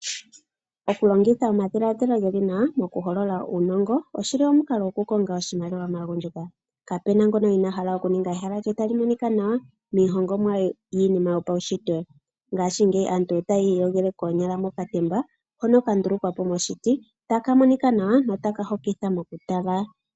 Oku longitha omadhiladhilo geli nawa moku holola uunongo oshili omukalo omwaanawa mokukonga iimaliwa maagundjuka. Kapuna ngoka inaahala oku ninga ehala lye tali monika nawa miihongomwa yopaushitwe ngaashingeyi aantu otaya iyogele koonyala mokatemba hono ka ndulukwa po moshiti taka monika nawa notaka hokitha mokutala.